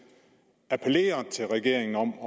appellerer til regeringen om